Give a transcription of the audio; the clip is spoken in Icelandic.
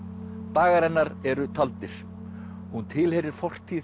dagar hennar eru taldir hún tilheyrir fortíð